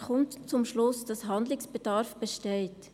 Er kommt zum Schluss, dass Handlungsbedarf besteht.